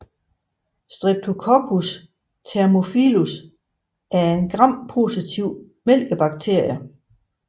Streptococcus thermophilus er en grampositiv mælkesyrebakterie